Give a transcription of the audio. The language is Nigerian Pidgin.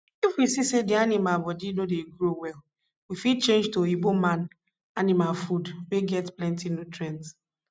if we see say the animal body no dey grow well we fit change to oyinbo man animal food wey get plenti nutrients